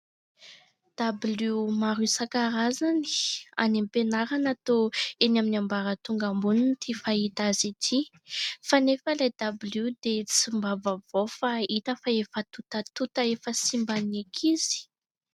Dabilio maro isankarazany any am-pianarana toa eny amin'ny ambaratonga ambony ity fahita azy ity, fa anefa ilay dabilio dia tsy mba vaovao fa hita fa efa tontatota efa simban'ny ankizy.